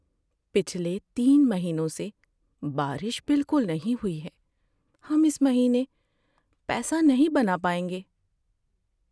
پچھلے تین مہینوں سے بارش بالکل نہیں ہوئی۔ ہم اس مہینے پیسہ نہیں بنا پائیں گے۔